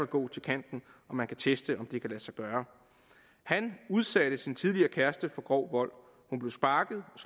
gå til kanten og man kan teste om det kan lade sig gøre han udsatte sin tidligere kæreste for grov vold hun blev sparket og